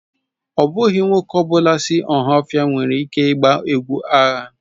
Ọ bụghị nwoke ọ bụla si Ohaofia nwere ike ịgba egwu agha.